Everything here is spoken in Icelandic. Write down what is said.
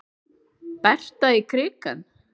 Berta í krikann?